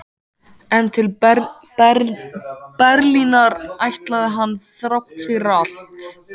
En til Berlínar ætlaði hann þrátt fyrir allt.